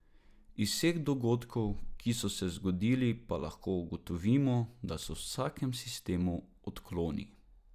Iz vseh dogodkov, ki so se zgodili, pa lahko ugotovimo, da so v vsakem sistemu odkloni.